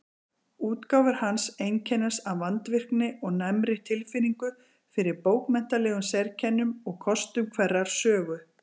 Útgáfur hans einkennast af vandvirkni og næmri tilfinningu fyrir bókmenntalegum sérkennum og kostum hverrar sögu.